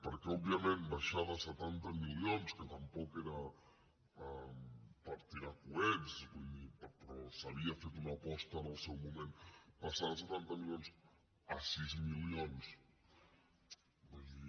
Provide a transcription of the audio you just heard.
perquè òbviament baixar de setanta milions que tampoc era per tirar coets vull dir però s’havia fet una aposta en el seu moment passar de setanta milions a sis milions vull dir